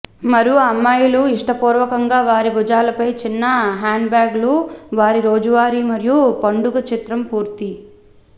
మరియు అమ్మాయిలు ఇష్టపూర్వకంగా వారి భుజాలపై చిన్న హ్యాండ్బ్యాగులు వారి రోజువారీ మరియు పండుగ చిత్రం పూర్తి